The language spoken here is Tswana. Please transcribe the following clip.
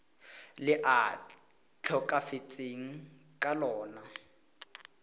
le a tlhokafetseng ka lona